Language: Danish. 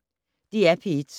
DR P1